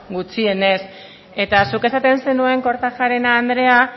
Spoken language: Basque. gutxienez eta zuk esaten zenuen kortajarena andrea